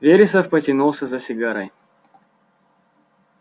вересов потянулся за сигарой